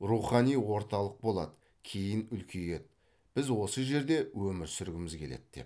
рухани орталық болады кейін үлкейеді біз осы жерде өмір сүргіміз келеді деп